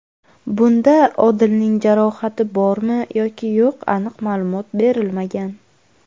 Bunda Odilning jarohati bormi yoki yo‘q aniq ma’lumot berilmagan.